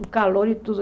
O calor e tudo.